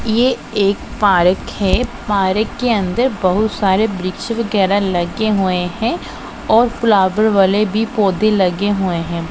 ये एक पारक है पारक के अंदर बहुत सारे वृक्ष वगैरा लगे हुए है और फ्लावर वाले भी पौधे लगे हुए हैं।